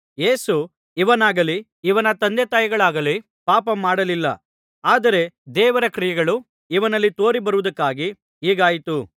ಯೇಸು ಇವನಾಗಲಿ ಇವನ ತಂದೆತಾಯಿಗಳಾಗಲಿ ಪಾಪ ಮಾಡಲಿಲ್ಲ ಆದರೆ ದೇವರ ಕ್ರಿಯೆಗಳು ಇವನಲ್ಲಿ ತೋರಿಬರುವುದಕ್ಕಾಗಿ ಹೀಗಾಯಿತು